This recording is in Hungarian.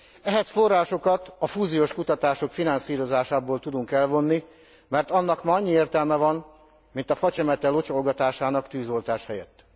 Ehhez forrásokat a fúziós kutatások finanszírozásából tudunk elvonni, mert annak ma annyi értelme van, mint a facsemete locsolgatásának tűzoltás helyett.